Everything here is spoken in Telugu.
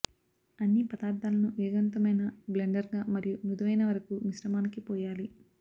అన్ని పదార్థాలను వేగవంతమైన బ్లెండర్గా మరియు మృదువైన వరకు మిశ్రమానికి పోయాలి